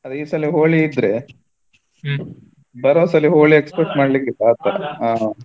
ಅದೇ ಈ ಸಲ Holi ಇದ್ರೆ ಬರೋ ಸಲ Holi expect ಮಾಡಲಿಕ್ಕಿಲ್ಲ ಆತರ.